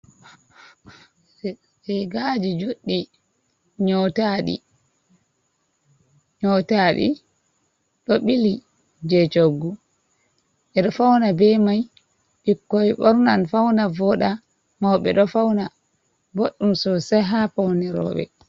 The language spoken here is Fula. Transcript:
Rigaji joɗɗi nyotaɗi, nyotaɗi ɗo ɓili je choggu, ɓe ɗo fauna be mai ɓikkoi ɓornan fauna voɗa, mau ɓe ɗo fauna boɗɗum sosai ha paune roɓe.